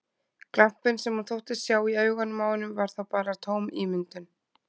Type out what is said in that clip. Glampinn sem hún þóttist sjá í augunum á honum var þá bara tóm ímyndun!